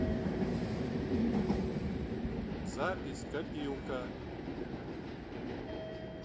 запись копилка